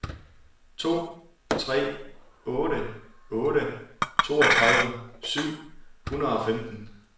to tre otte otte toogtredive syv hundrede og femten